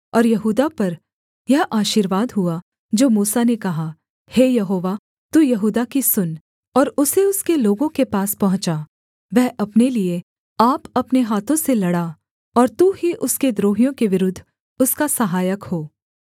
और यहूदा पर यह आशीर्वाद हुआ जो मूसा ने कहा हे यहोवा तू यहूदा की सुन और उसे उसके लोगों के पास पहुँचा वह अपने लिये आप अपने हाथों से लड़ा और तू ही उसके द्रोहियों के विरुद्ध उसका सहायक हो